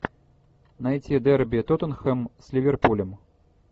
найти дерби тоттенхэм с ливерпулем